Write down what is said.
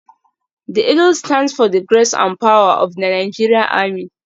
The eagle stands for the grace and power of the Nigeria army.